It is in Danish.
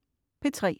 P3: